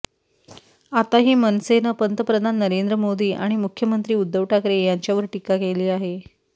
आताही मनसेनं पंतप्रधान नरेंद्र मोदी आणि मुख्यमंत्री उद्धव ठाकरे यांच्यावर टीका केली आहे